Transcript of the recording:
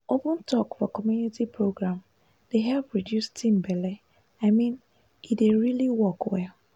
open talk for community program dey help reduce teen belle i mean e dey really work well.